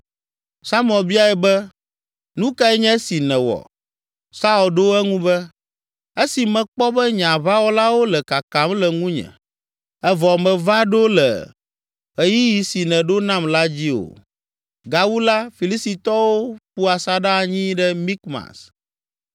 Samuel biae be, “Nu kae nye esi nèwɔ?” Saul ɖo eŋu be, “Esi mekpɔ be nye aʋawɔlawo le kakam le ŋunye, evɔ mèva ɖo le ɣeyiɣi si nèɖo nam la dzi o, gawu la Filistitɔwo ƒu asaɖa anyi ɖe Mikmas.